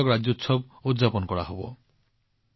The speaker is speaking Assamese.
কৰ্ণাটক ৰাজ্যোৎসৱ উদযাপন কৰা হব